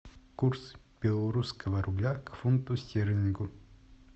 курс белорусского рубля к фунту стерлингу